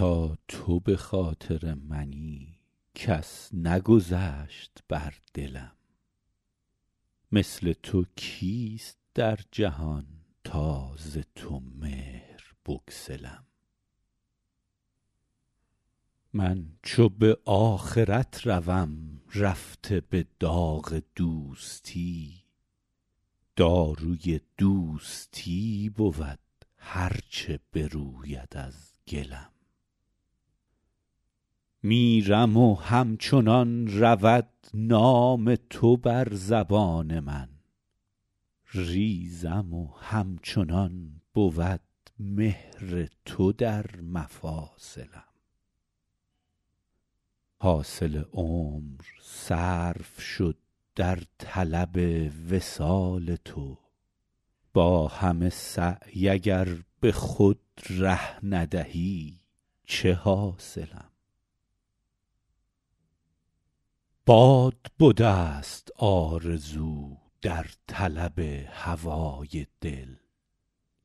تا تو به خاطر منی کس نگذشت بر دلم مثل تو کیست در جهان تا ز تو مهر بگسلم من چو به آخرت روم رفته به داغ دوستی داروی دوستی بود هر چه بروید از گلم میرم و همچنان رود نام تو بر زبان من ریزم و همچنان بود مهر تو در مفاصلم حاصل عمر صرف شد در طلب وصال تو با همه سعی اگر به خود ره ندهی چه حاصلم باد بدست آرزو در طلب هوای دل